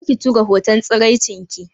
Kar ki tura hoton tsiraicinki